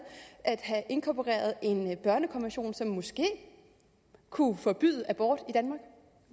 at have inkorporeret en børnekonvention som måske kunne forbyde abort i danmark